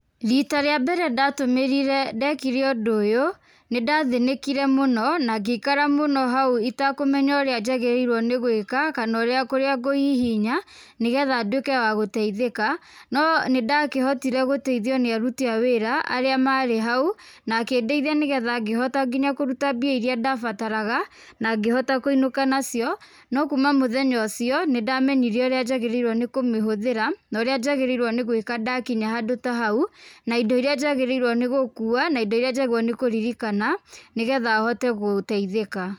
Rita rĩa mbere ndatũmĩrĩre ndekire ũndũ ũyũ, nĩ ndathĩnĩkire mũno na ngĩikara mũno hau itakũmenya ũrĩa njagĩrĩirwo nĩ gwĩka kana ũrĩa kũrĩa ngũhihinya nĩ getha nduĩke wa gũteithĩka, no nĩ ndakĩhotire gũteithio nĩ aruti a wĩra arĩa marĩ hau, na akĩndeithia nĩ getha ngĩhota nginya kũruta mbia irĩa ndabataraga, na ngĩhota kũinũka nacio. No kuuma mũthenya ũcio, nĩ ndamenyire ũrĩa njagĩrĩirwo nĩ kũmĩhũthĩra na ũrĩa njagĩrĩirwo nĩ gwĩka ndakinya ndakinya handũ ta hau, na indo irĩa njagĩrĩirwo nĩ gũkuua na indo iria njagĩrĩirwo nĩ kũririkana nĩ getha hote gũteithĩka.